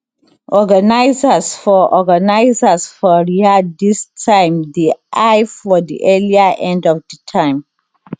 organisers for organisers for riyadh dis time dey eye for di earlier end of di time